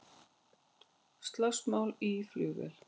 Slagsmál í flugvél